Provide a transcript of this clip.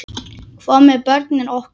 Hvað með börnin okkar?